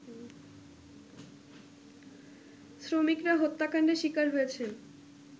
শ্রমিকরা হত্যাকাণ্ডের শিকার হয়েছেন